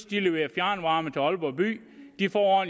de leverer fjernvarme til aalborg by de får